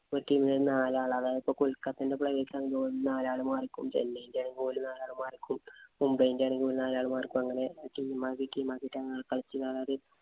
ഒരു team ഇല് നാലാള് അതായത് ഇപ്പൊ കൊല്‍ക്കത്തേടെ player's ആണേ നാലാള് മാറി ക്കും. ചെന്നൈ ന്‍റെ നാലാള് മാറി ക്കും മുംബൈന്‍റെ ആണേ നാലാള് മാറി നിക്കും. അങ്ങനെ team ആക്കി team ആക്കി അങ്ങനെ കളിച്ചു